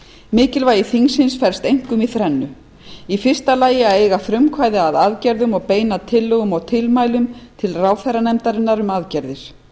mikilvægi þingsins felst einkum í þrennu í fyrsta lagi að eiga frumkvæði að aðgerðum og beina tillögum og tilmælum til ráðherranefndarinnar um aðgerðir